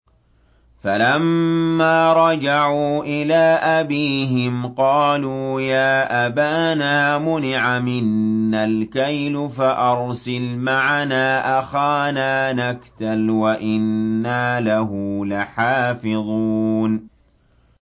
فَلَمَّا رَجَعُوا إِلَىٰ أَبِيهِمْ قَالُوا يَا أَبَانَا مُنِعَ مِنَّا الْكَيْلُ فَأَرْسِلْ مَعَنَا أَخَانَا نَكْتَلْ وَإِنَّا لَهُ لَحَافِظُونَ